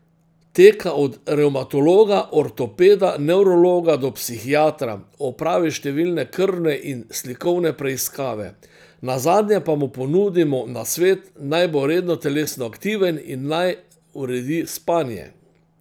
Teka od revmatologa, ortopeda, nevrologa do psihiatra, opravi številne krvne in slikovne preiskave, nazadnje pa mu ponudimo nasvet, naj bo redno telesno aktiven in naj uredi spanje.